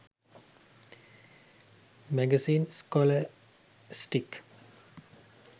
magazines scholastic